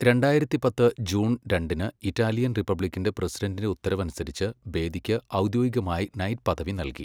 രണ്ടായിരത്തി പത്ത് ജൂൺ രണ്ടിന് ഇറ്റാലിയൻ റിപ്പബ്ലിക്കിന്റെ പ്രസിഡന്റിന്റെ ഉത്തരവനുസരിച്ച്, ബേദിക്ക് ഔദ്യോഗികമായി നൈറ്റ് പദവി നൽകി.